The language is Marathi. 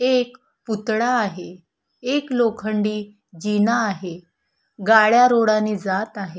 एक पुतळा आहे एक लोखंडी जीना आहे गाड्या रोडानी जात आहे.